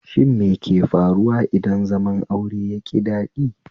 Shin meke faruwa idan zaman aure yaƙi daɗi?